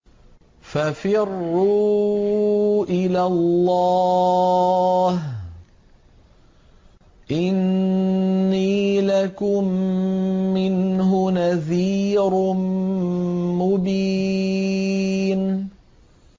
فَفِرُّوا إِلَى اللَّهِ ۖ إِنِّي لَكُم مِّنْهُ نَذِيرٌ مُّبِينٌ